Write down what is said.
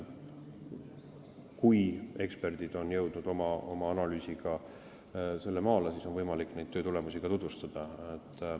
Kui eksperdid on jõudnud oma analüüsiga sinnamaani, siis on võimalik neid töötulemusi ka tutvustada.